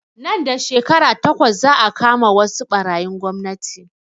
Nan da shekara takwas za a kama wasu ɓarayin gwamnati